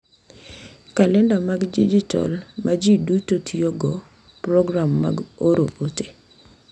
Kalenda mag dijitol ma ji duto tiyogo, program mag oro ote,